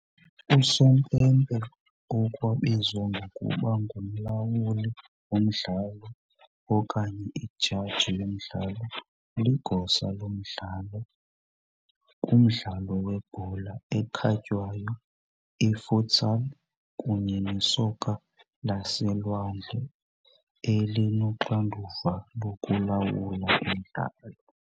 Usompempe okwabizwa ngokuba ngumlawuli womdlalo okanye ijaji yomdlalo ligosa lomdlalo kumdlalo webhola ekhatywayo, i-futsal kunye nesoka laselwandle, elinoxanduva lokulawula umdlalo.